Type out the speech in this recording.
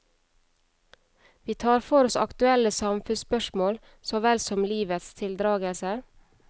Vi tar for oss aktuelle samfunnsspørsmål så vel som livets tildragelser.